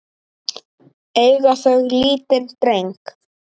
Eiga þau lítinn dreng.